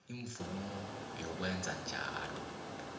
imvumo yokwenza njalo